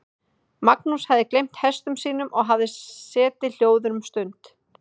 Magnús hafði gleymt hestum sínum og hafði setið hljóður um stund.